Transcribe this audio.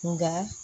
Nka